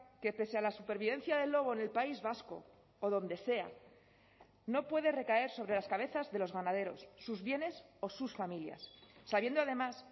que pese a la supervivencia del lobo en el país vasco o donde sea no puede recaer sobre las cabezas de los ganaderos sus bienes o sus familias sabiendo además